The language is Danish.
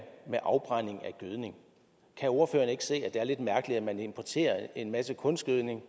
afbrænding af gødning kan ordføreren ikke se at det er lidt mærkeligt at man importerer en masse kunstgødning